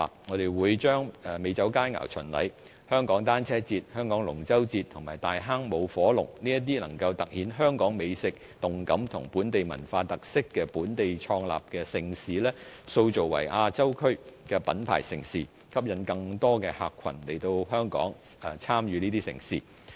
我們會將美酒佳餚巡禮、香港單車節、香港龍舟嘉年華及大坑舞火龍這些能夠突顯香港美食、動感及本地文化特色的本地創立的盛事，塑造為亞洲區的品牌盛事，吸引更多客群來香港參與這些盛事。